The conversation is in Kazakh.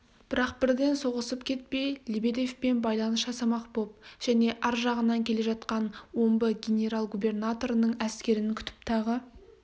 бірақ бірден соғысып кетпей лебедевпен байланыс жасамақ боп және ар жағынан келе жатқан омбы генерал-губернаторының әскерін күтіп тағы